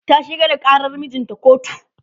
ta shigar da ƙarar mijinta kotu